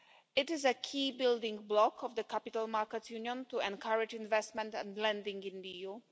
It is a key building block of the Capital Markets Union to encourage investment and lending in the EU.